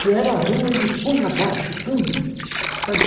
Se era rua, ele punha abaixo tudo. Pareci